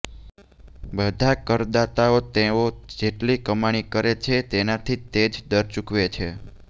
બધા કરદાતાઓ તેઓ જેટલી કમાણી કરે છે તેનાથી તે જ દર ચૂકવે છે